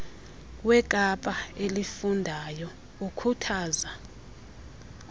wekapa elifundayo ukhuthaza